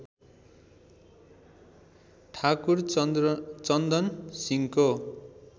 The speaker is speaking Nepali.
ठाकुर चन्दन सिंहको